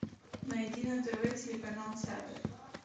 найди на тв телеканал театр